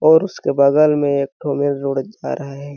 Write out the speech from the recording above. और उसके बगल में एक ठो मेल रोड जा रहा है।